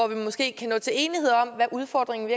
vi måske kan nå til enighed om hvad udfordringen